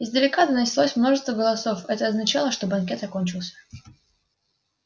издалека донеслось множество голосов это означало что банкет окончился